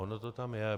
Ono to tam je.